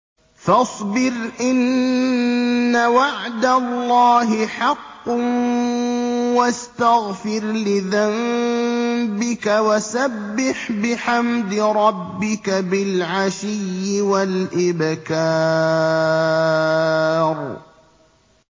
فَاصْبِرْ إِنَّ وَعْدَ اللَّهِ حَقٌّ وَاسْتَغْفِرْ لِذَنبِكَ وَسَبِّحْ بِحَمْدِ رَبِّكَ بِالْعَشِيِّ وَالْإِبْكَارِ